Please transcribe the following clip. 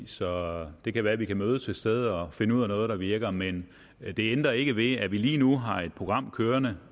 så det kan være vi kan mødes et sted og finde ud af noget der virker men det ændrer ikke ved at vi lige nu har et program kørende